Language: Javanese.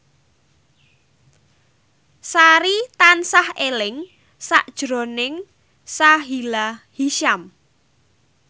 Sari tansah eling sakjroning Sahila Hisyam